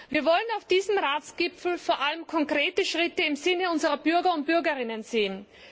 Wir wollen auf diesem Ratsgipfel vor allem konkrete Schritte im Sinne unserer Bürger und Bürgerinnen sehen.